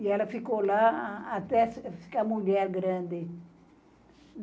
E ela ficou lá até ficar mulher grande.